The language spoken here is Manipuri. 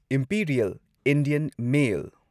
Imperial Indian mail